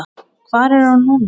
Hvar er hún núna?